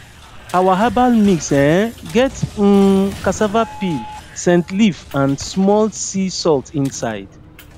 our herbal mix um get um cassava peel scent leaf and small sea salt inside